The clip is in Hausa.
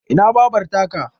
Ina Babar ta ka?